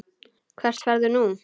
Hvert ferðu nú?